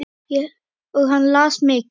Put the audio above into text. Og hann las mikið.